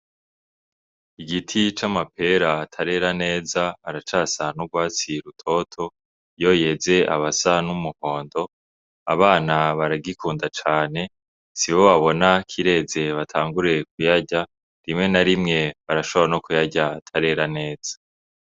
Igiti c’amapera atarera neza aracasa n'ugwatsi rutoto, iyo yeze abasa n'umuhondo, abana baragikunda cane sibo babona kireze batangure kuyarya rimwe na rimwe barashabora no kuyarya atarera neza.